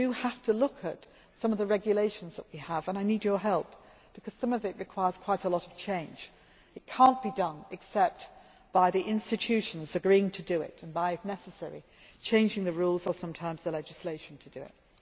of work we have to look at some of the regulations that we have, and I need your help because some of it requires quite a lot of change. It cannot be done except by the institutions agreeing to do it and, if necessary, by changing the rules or sometimes the legislation